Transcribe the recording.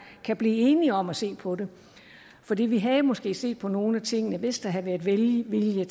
kan blive enige om at se på det fordi vi havde måske set på nogle af tingene hvis der havde været velvilje